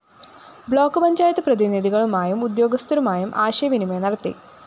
block panchayat പ്രതിനിധികളുമായും ഉദ്യോഗസ്ഥരുമായും ആശയവിനിമയം നടത്തി